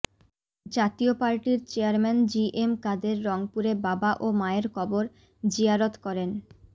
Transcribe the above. জাতীয় পার্টির চেয়ারম্যান জিএম কাদের রংপুরে বাবা ও মায়ের কবর জিয়ারত করেন